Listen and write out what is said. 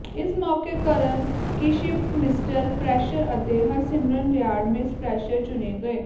ਇਸ ਮੌਕੇ Karan Kashyap mister fresher ਅਤੇ ਹਰਸਿਮਰਨ ਰਿਆੜ ਮਿਸ ਫਰੈਸ਼ਰ ਚੁਣੇ ਗਏ